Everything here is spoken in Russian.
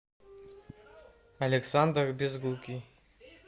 александр безрукий